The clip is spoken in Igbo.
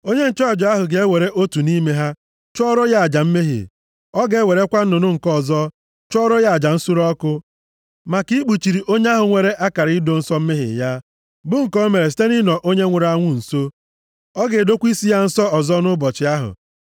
Onye nchụaja ahụ ga-ewere otu nʼime ha chụọrọ ya aja mmehie. Ọ ga-ewerekwa nnụnụ nke ọzọ chụọrọ ya aja nsure ọkụ maka ikpuchiri onye ahụ nwere akara ido nsọ mmehie ya, bụ nke o mere site nʼịnọ onye nwụrụ anwụ nso. Ọ ga-edokwa isi ya nsọ ọzọ nʼụbọchị ahụ.